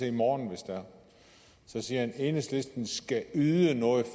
i morgen hvis det er så siger han enhedslisten skal yde noget